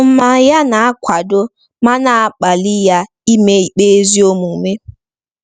Ọnụma ya na-akwado ma na-akpali ya ime ikpe ezi omume.